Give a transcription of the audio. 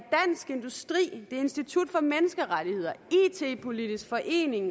institut for menneskerettigheder it politisk forening